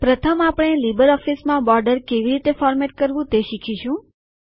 પ્રથમ આપણે લીબરઓફીસ માં બોર્ડર કેવી રીતે ફોર્મેટ કરવું તે શીખીશું